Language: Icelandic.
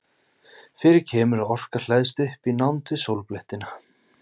fyrir kemur að orka hleðst upp í nánd við sólblettina